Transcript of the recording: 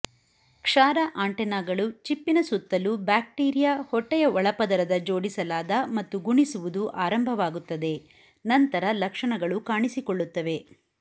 ಕ್ಷಾರ ಆಂಟೆನಾಗಳು ಚಿಪ್ಪಿನ ಸುತ್ತಲೂ ಬ್ಯಾಕ್ಟೀರಿಯಾ ಹೊಟ್ಟೆಯ ಒಳಪದರದ ಜೋಡಿಸಲಾದ ಮತ್ತು ಗುಣಿಸುವುದು ಆರಂಭವಾಗುತ್ತದೆ ನಂತರ ಲಕ್ಷಣಗಳು ಕಾಣಿಸಿಕೊಳ್ಳುತ್ತವೆ